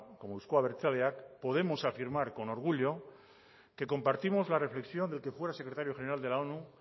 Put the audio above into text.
como euzko abertzaleak podemos afirmar con orgullo que compartimos la reflexión del que fuera secretario general de la onu